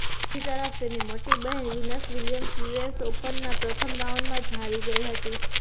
બીજી તરફ તેની મોટી બહેન વિનસ વિલિયમ્સ યુએસ ઓપનના પ્રથમ રાઉન્ડમાં જ હારી ગઇ હતી